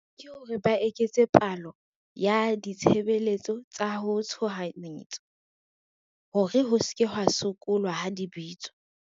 Ke hore ba eketse palo ya ditshebeletso tsa ho tshohanyetso, hore ho se ke hwa sokolwa ha di bitswa.